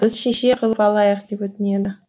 біз шеше қылып алайық деп өтінеді